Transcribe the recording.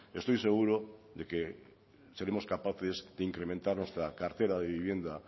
estoy seguro de que seremos capaces de incrementar nuestra cartera de vivienda